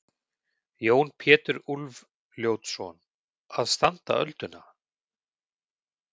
Jón Pétur Úlfljótsson: Að standa ölduna?